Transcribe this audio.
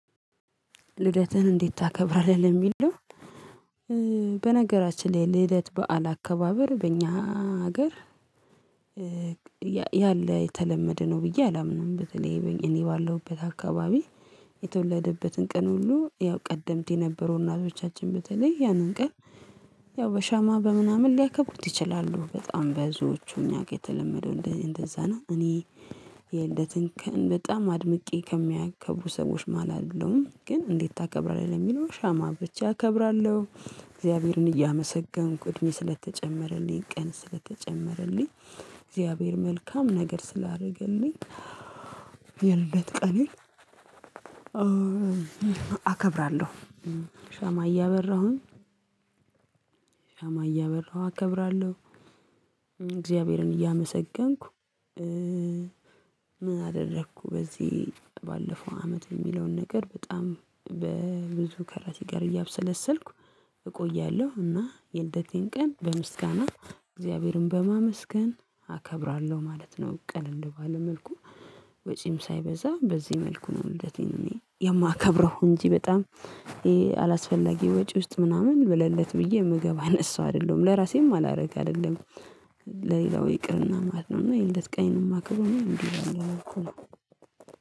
ልደትን እንዴት ታከብራለህ ለሚለው? በነገራችን ላይ ልደት በዓል አከባበር በእኛ ሀገር ያለ የተለመደ ነው ብዬ አላምንም። በተለይ እኔ ባለሁበት አካባቢ የተወለደበትን ቀን ሁሉ ያው ቀደምት የነበሩ እናቶቻችን በተለይ ያንን ቀን ያው በሻማ በምናምን ሊያከብሩት ይችላሉ በጣም ብዙዎቹ እኛ ጋር የተለመደው እንደዚ እንደዛ ነው። እኔ የልደቴን ቀን በጣም አድምቄ ከሚያከብሩ ሰዎች መሃል አይደለሁም ግን እንዴት ታከብራለህ ለሚለው ሻማ አብርቼ እከብራለሁ። እግዚአብሔርን እያመሰገንኩ እድሜ ስለተጨመረልኝ ቀን ስለተጨመረልኝ እግዚአብሔር መልካም ነገር ስላደረገልኝ የልደት ቀኔን አከብራለሁ ሻማ እያበራሁኝ አከብራለሁ እግዚአብሔርን እያመሰገንኩ። ምን አደረኩ? በዚህ ባለፈው አመት የሚለውን ነገር በጣም በብዙ ከራሴ ጋር እያብሰለሰልኩ እቆያለሁ እና የልደቴን ቀን በምስጋና እግዚአብሔርን በማመስገን አከብራለሁ ማለት ነው። ቀለል ባለ መልኩ ወጪም ሳይበዛ በዚህ መልኩ ነው። ልደቴን እኔ የማከብረው እንጂ በጣም አላስፈላጊ ወጪ ውስጥ ምናምን ለልደት ብዬ ምገባ አይነት ሰው አይደለሁም ለራሴም አላደርግ አይደለም ለሌላው ይቅርና ማለት ነው። እና የልደት ቀኔን የማከብረው እኔ እንዲ እንዲ እያረኩ ነው